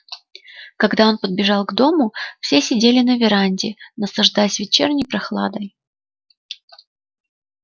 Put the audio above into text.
когда он подбежал к дому все сидели на веранде наслаждаясь вечерней прохладой